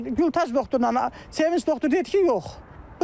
Gülbaz doktor Sevinc doktor dedi ki, yox.